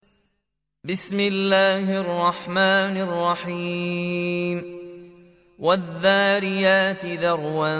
وَالذَّارِيَاتِ ذَرْوًا